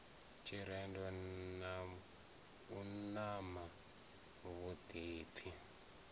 tshirendo na u ṱana vhuḓipfi